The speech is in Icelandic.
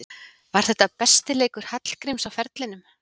Var þetta besti leikur Hallgríms á ferlinum?